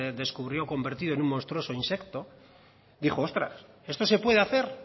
descubrió convertido en un monstruoso insecto dijo ostras esto se puede hacer